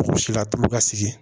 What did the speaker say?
Si la tulu ka sigi